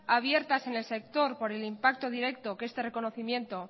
abiertas en el sector por el impacto directo que este reconocimiento